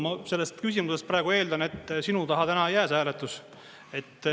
Ma sellest küsimusest praegu eeldan, et sinu taha täna ei jää see hääletus.